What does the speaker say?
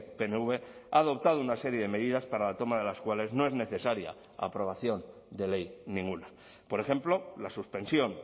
pnv ha adoptado una serie de medidas para la toma de las cuales no es necesaria aprobación de ley ninguna por ejemplo la suspensión